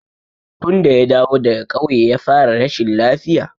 Tun da ya dawo daga ƙauye ya fara rashin lafiya.